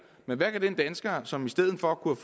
men hvad kan den dansker som i stedet for kunne